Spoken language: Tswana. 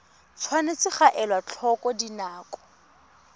tshwanetse ga elwa tlhoko dinako